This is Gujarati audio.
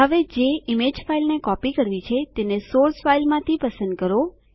હવે જે ઈમેજ ફાઈલને કોપી કરવી છે તેને સોર્સ ફાઈલમાંથી પસંદ કરો